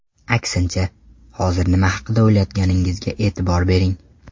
Aksincha, hozir nima haqida o‘ylayotganingizga e’tibor bering.